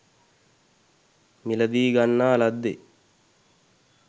මිලදීගන්නා ලද්දේ